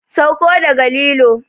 Sauko daga lilo!